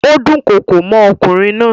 Ó dúnkokò mọ́ ọkùnrin náà.